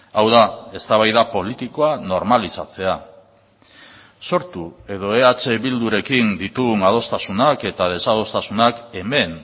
hau da eztabaida politikoa normalizatzea sortu edo eh bildurekin ditugun adostasunak eta desadostasunak hemen